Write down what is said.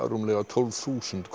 rúmlega tólf þúsund